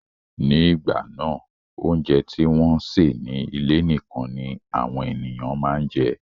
Ní ìgbà náà, óúnjẹ tí wọ́n sè ní ilé nikan ni àwọn ènìyàn máa ń jẹ